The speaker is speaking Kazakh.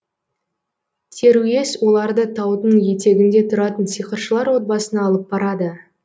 теруес оларды таудың етегінде тұратын сиқыршылар отбасына алып барады